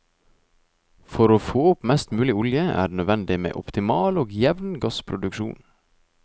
For å få opp mest mulig olje er det nødvendig med en optimal og jevn gassproduksjon.